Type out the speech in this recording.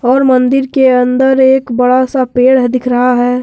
और मंदिर के अंदर एक बड़ा सा पेड़ हं दिख रहा है।